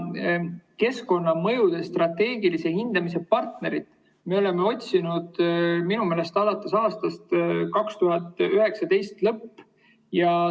Keskkonnamõjude strateegilise hindamise partnerit minu meelest otsiti alates aasta 2019 lõpust.